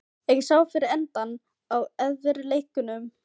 Ekki sá fyrir endann á erfiðleikunum í athafnalífinu fyrir austan.